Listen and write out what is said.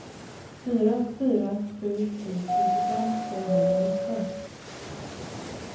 fyra fyra sju sju nittiofem femhundranitton